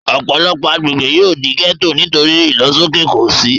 Ọ̀pọ̀lọpọ̀ agbègbè yóò di gẹ́ẹ́tò nítorí ìlọsóké òṣì